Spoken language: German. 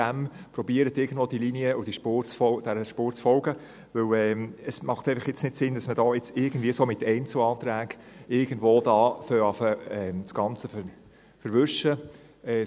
Versuchen Sie der Linie und dieser Spur zu folgen, weil es jetzt keinen Sinn macht, dass man mit Einzelanträgen das Ganze zu verwischen beginnt.